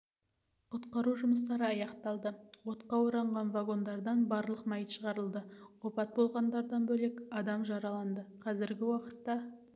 құтқару жұмыстары аяқталды отқа оранған вагондардан барлық мәйіт шығарылды опат болғандардан бөлек адам жараланды қазіргі уақытта